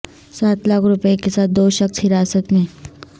سات لاکھ روپے کے ساتھ دو شخص حراست میں